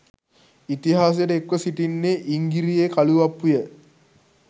ඉතිහාසයට එක්ව සිටින්නේ ඉංගිරියේ කළුඅප්පුය.